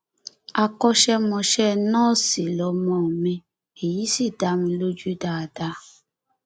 àkọṣemọṣẹ nọọsì lọmọ mi èyí sì dá mi lójú dáadáa